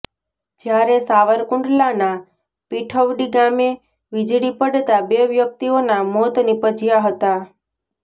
જ્યારે સારવકુંડલાના પીઠવડી ગામે વિજળી પડતા બે વ્યકિતઓના મોત નિપજ્યા હતાં